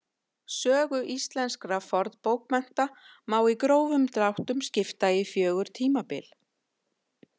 Sögu íslenskra fornbókmennta má í grófum dráttum skipta í fjögur tímabil.